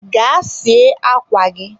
gaa sie akwa gị!